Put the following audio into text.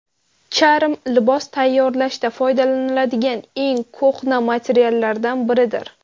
Charm libos tayyorlashda foydalaniladigan eng ko‘hna materiallardan biridir.